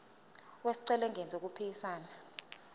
wesicelo engenzi okuphikisana